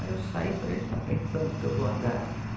Aí eu saí e falei, ele está pensando que eu vou andar.